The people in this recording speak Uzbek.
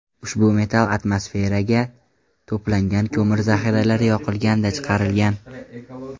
Ushbu metal atmosferagan to‘plangan ko‘mir zahiralari yoqilganda chiqarilgan.